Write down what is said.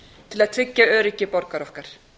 til að tryggja öryggi borgara okkar